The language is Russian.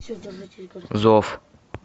зов